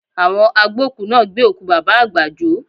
Àwọn agbókùú náà gbé òkú Bàbá àgbà jó